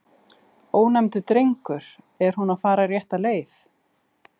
Ónefndur drengur: Er hún að fara rétta leið?